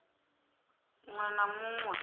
ṅ we na mu ṅ